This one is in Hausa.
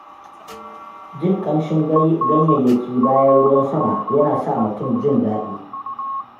Jin ƙamshin ganyayyaki bayan ruwan sama yana sa mutum jin daɗi.